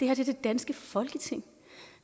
er det danske folketing